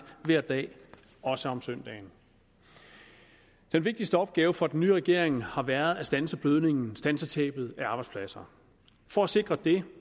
hver dag også om søndagen den vigtigste opgave for den nye regering har været at standse blødningen standse tabet af arbejdspladser for at sikre det